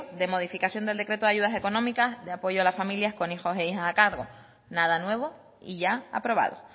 de modificación del decreto de ayudas económicas de apoyo a las familias con hijos e hijas a cargo nada nuevo y ya aprobado